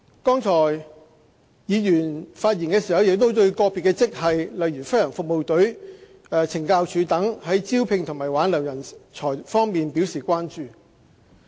剛才議員發言時對個別職系，例如政府飛行服務隊和懲教署等，在招聘和挽留人才方面表示關注。